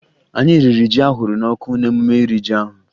Anyị riri ji ahụrụ n'ọkụ n'emume iri ji ahụ